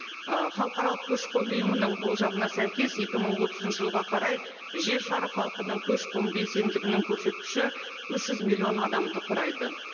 ы халықаралық көші қон ұйымының болжамына сәйкес екі мың отызыншы жылға қарай жер шары халқының көші қон белсенділігінің көрсеткіші үш жүз миллион адамды құрайды